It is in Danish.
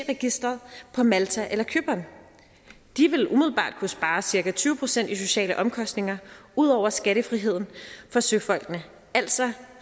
registeret på malta eller cypern de ville umiddelbart kunne spare cirka tyve procent i sociale omkostninger ud over skattefriheden for søfolkene altså